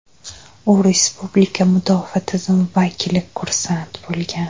U respublika mudofaa tizimi vakili kursant bo‘lgan.